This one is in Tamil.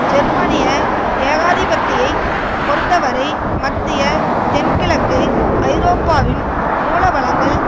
ஜெர்மனிய ஏகாதிபத்தியை பொறுத்தவரை மத்திய தென்கிழக்கு ஐரோப்பாவின் மூலவளங்கள்